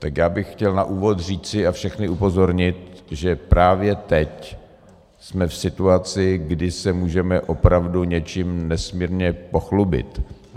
Tak já bych chtěl na úvod říci a všechny upozornit, že právě teď jsme v situaci, kdy se můžeme opravdu něčím nesmírně pochlubit.